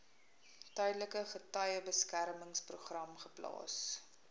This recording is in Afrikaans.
tydelike getuiebeskermingsprogram geplaas